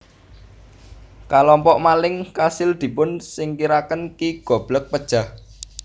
Kalompok maling kasil dipun singkiraken Ki Goblek pejah